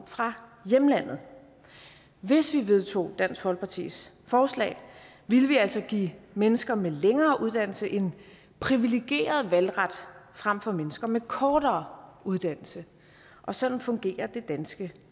fra hjemlandet hvis vi vedtog dansk folkepartis forslag ville vi altså give mennesker med længere uddannelse en privilegeret valgret frem for mennesker med kortere uddannelse sådan fungerer det danske